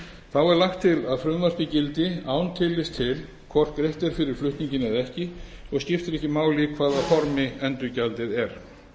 þá er lagt til að frumvarpið gildi án tillits til hvort greitt er fyrir flutninginn eða ekki og skiptir ekki máli í hvaða formi endurgjaldið er